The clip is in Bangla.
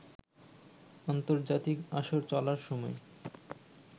আন্তর্জাতিক আসর চলার সময়